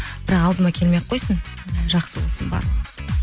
бірақ алдыма келмей ақ қойсын жақсы болсын барлығы